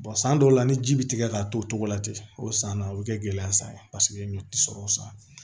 san dɔw la ni ji bi tigɛ ka to o togo la ten o san na o be kɛ gɛlɛya ye paseke ɲɔ ti sɔrɔ o san